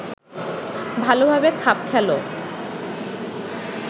ভালোভাবে খাপ খেল